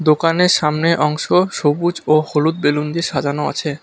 দোকানের সামনে অংশ সবুজ ও হলুদ বেলুন দিয়ে সাজানো আছে।